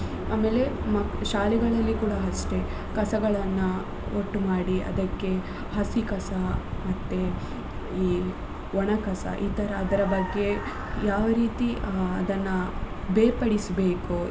ಆಮೇಲೆ ಮಕ್~ ಶಾಲೆಗಳಲ್ಲಿ ಕೂಡ ಅಷ್ಟೆ ಕಸಗಳನ್ನ ಒಟ್ಟು ಮಾಡಿ ಅದಕ್ಕೆ ಹಸಿ ಕಸ ಮತ್ತೆ ಈ ಒಣ ಕಸ ಈ ತರ ಅದರ ಬಗ್ಗೆ ಯಾವ ರೀತಿ ಆ ಅದನ್ನ ಬೇರ್ಪಡಿಸ್ಬೇಕು.